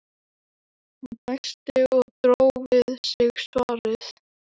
Hann dæsti og dró við sig svarið.